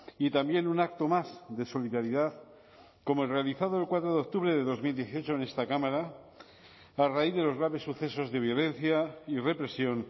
y también un acto más de solidaridad como el realizado el cuatro de octubre de dos mil dieciocho en esta cámara a raíz de los graves sucesos de violencia y represión